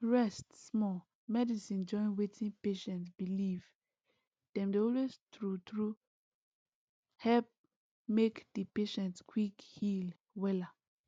rest small medicine join wetin patient believe dem dey always true true help make di patient quick heal wella